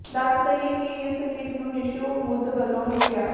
ਦੱਸ ਦਈਏ ਕਿ ਇਸ ਗੀਤ ਨੂੰ ਨਿਸ਼ੂ ਮੁੱਧ ਵੱਲੋ ਲਿਖਿਆ